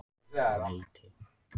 Leiti